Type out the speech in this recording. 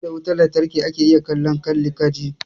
Sai da wutan lantarki ake iya kallon kalli ka ji.